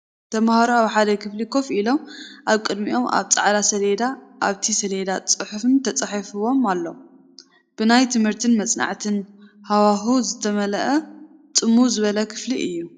ተማሃሮ ኣብ ሓደ ክፍሊ ኮፍ ኢሎም ኣብ ቅድሚኦም ኣብ ጻዕዳ ሰሌዳ ፣ ኣብቲ ሰሌዳ ፅሑፋት ተጻሒፎም ኣለዉ። ብናይ ትምህርትን መጽናዕትን ሃዋህው ዝተመልአ ጽምው ዝበለ ክፍሊ እዩ።